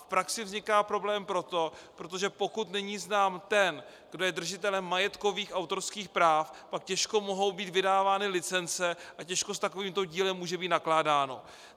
V praxi vzniká problém proto, protože pokud není znám ten, kdo je držitelem majetkových autorských práv, pak těžko mohou být vydávány licence a těžko s takovýmto dílem může být nakládáno.